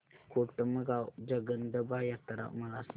कोटमगाव जगदंबा यात्रा मला सांग